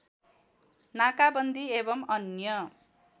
नाकाबन्दी एवम् अन्य